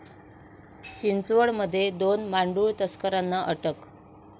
चिंचवडमध्ये दोन मांडूळ तस्करांना अटक